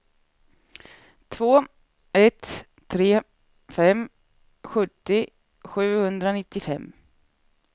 två ett tre fem sjuttio sjuhundranittiofem